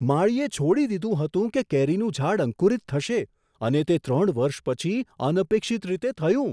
માળીએ છોડી દીધું હતું કે કેરીનું ઝાડ અંકુરિત થશે, અને તે ત્રણ વર્ષ પછી અનપેક્ષિત રીતે થયું.